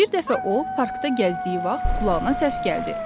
Bir dəfə o parkda gəzdiyi vaxt qulağına səs gəldi.